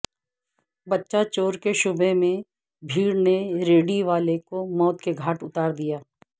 بچہ چور کے شبہ میں بھیڑ نے ریڑھی والے کو موت کے گھاٹ اتار دیا